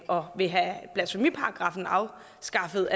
og vil have blasfemiparagraffen afskaffet